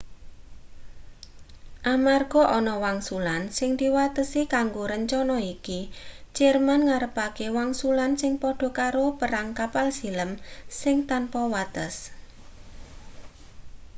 amarga ana wangsulan sing diwatesi kanggo rencana iki jerman ngarepake wangsulan sing padha karo perang kapal silem sing tanpa wates